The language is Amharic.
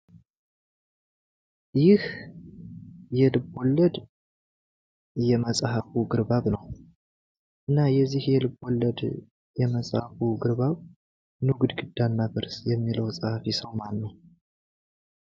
ይህ የልቦለድ የመጽሃፉ ግርባብ ነው። እና የዚህ ልቦለድ የመጽሃፉ ግርባብ "ኑ ግድግዳ እናፍርስ" የሚለው መጽሀፍ ጸሃፊ ሰው ማነው?